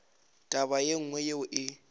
taba ye nngwe yeo e